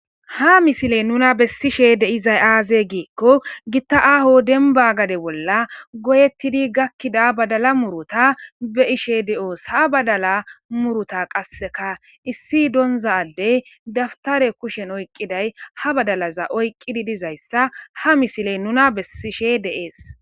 Ha misiley nuna bessishe dizay aaze gizaysa gidiko gita aaho demba gade bolla goyetidi gakkida badala muuruta be'ishe de'oos. Ha badala muuruta qasseka issi donza addey dabutare kushen oykidaysi ha badala qasseka oykidaysa be'ishe de'oos.